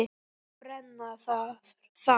Og brenna þar.